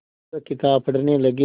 वह किताब पढ़ने लगे